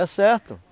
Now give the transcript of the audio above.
É certo.